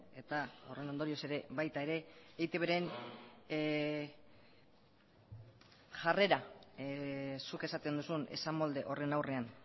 eta horren ondorioz ere baita ere eitbren jarrera zuk esaten duzun esamolde horren aurrean